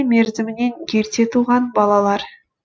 мерзімінен ерте туған балалар